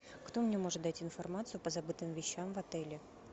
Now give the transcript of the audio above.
кто мне может дать информацию по забытым вещам в отеле